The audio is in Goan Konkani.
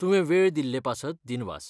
तुवें वेळ दिल्लें पासत दिनवास.